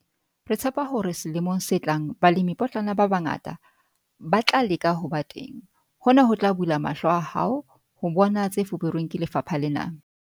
Re tshepa hore selemong se tlang balemipotlana ba bangata ba tla leka ho ba teng - hona ho tla bula mahlo a hao ho bona tse fuperweng ke lefapha lena.